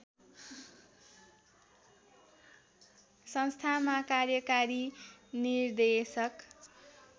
संस्थामा कार्यकारी निर्देशक